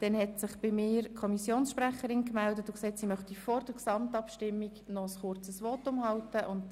Die Kommissionssprecherin möchte vor der Gesamtabstimmung noch ein kurzes Votum abgeben.